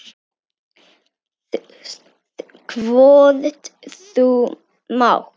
Hvort þú mátt.